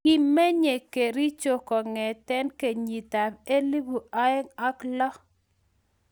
kimenyei kericho kong'ete kenyit ab elipu aeng' ak loo